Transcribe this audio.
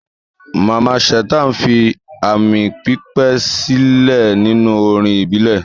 Mamman Shata fi aami pípẹ́ sílẹ̀ nínú orin ìbílẹ̀.